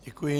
Děkuji.